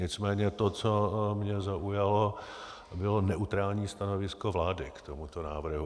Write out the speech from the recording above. Nicméně to, co mě zaujalo, bylo neutrální stanovisko vlády k tomuto návrhu.